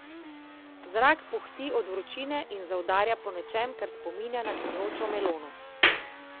Zrak puhti od vročine in zaudarja po nečem, kar spominja na gnijočo melono.